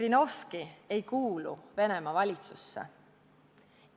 Žirinovski ei kuulu Venemaa valitsusse.